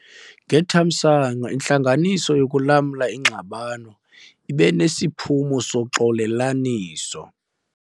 Ngethamsanqa, intlanganiso yokulamla ingxabano ibe nesiphumo soxolelaniso.